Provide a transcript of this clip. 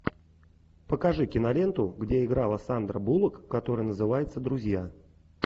покажи киноленту где играла сандра буллок которая называется друзья